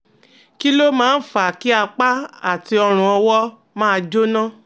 Kí ló máa ń fa kí apá àti ọrùn-ọwọ́ máa jóná?